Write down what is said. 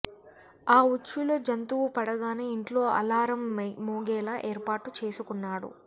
ఆ ఉచ్చులో జంతువు పడగానే ఇంట్లో అలారం మోగేలా ఏర్పాటు చేసుకున్నాడు